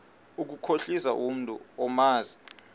ukukhohlisa umntu omazi